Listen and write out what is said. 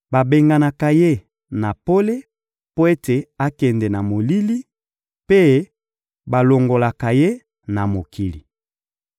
Babenganaka ye na pole mpo ete akende na molili, mpe balongolaka ye na mokili.